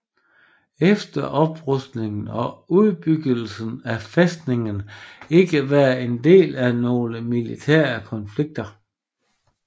Efter oprustningen og udbyggelsen har fæstningen ikke været en del af nogle militære konflikter